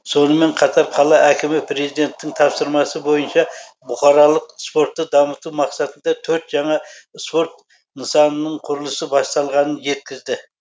сонымен қатар қала әкімі президенттің тапсырмасы бойынша бұқаралық спортты дамыту мақсатында төрт жаңа спорт нысанының құрылысы басталғанын жеткізді